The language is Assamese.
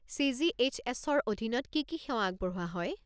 চি.জি.এইচ.এছ.-ৰ অধীনত কি কি সেৱা আগবঢ়োৱা হয়?